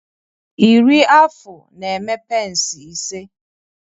Iri afụ na-eme pence ise